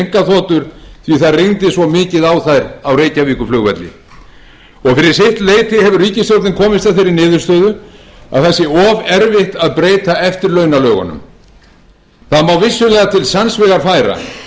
rigndi svo mikið á þær á reykjavíkurflugvelli og fyrir sitt leyti hefur ríkisstjórnin komist að þeirri niðurstöðu að það sé og erfitt að breyta eftirlaunalögunum það má vissulega til sanns vegar færa